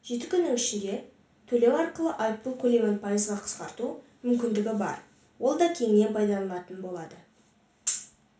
жеті күннің ішінде төлеу арқылы айыппұл көлемін пайызға қысқарту мүмкіндігі бар ол да кеңінен пайдаланылатын болады